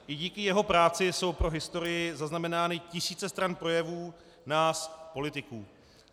I díky jeho práci jsou pro historii zaznamenány tisíce stran projevů nás politiků.